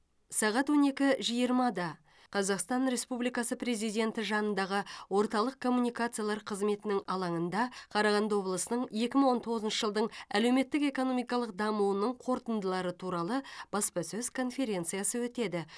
сағат он екі жиырмада қазақстан республикасы президенті жанындағы орталық коммуникациялар қызметінің алаңында қарағанды облысының екі мың он тоғызыншы жылдың әлеуметтік экономикалық дамуының қорытындылары туралы баспасөз конференциясы өтеді